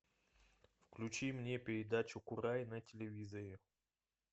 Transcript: включи мне передачу курай на телевизоре